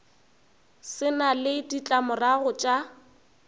se na le ditlamorago tša